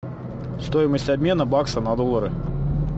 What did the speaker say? стоимость обмена бакса на доллары